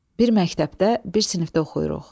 Bir məktəbdə, bir sinifdə oxuyuruq.